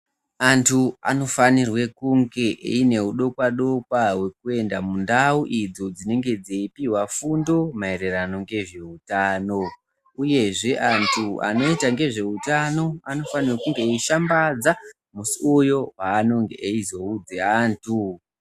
Antu anofanirwa kunge aine hudokwa dokwa hwekuenda kundau idzo dzinenge dzeipihwa fundo maererano ngezveutano. Uyezve antu anoita ngezveutano anofanira kunge eishambadza musi uyo waanonge vachizoudza antu ngezveutano.